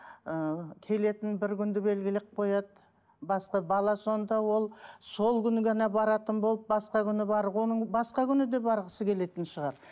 ыыы келетін бір күнді белгілеп қояды басқа бала сонда ол сол күні ғана баратын болып басқа күні бар оның басқа күні де барғысы келетін шығар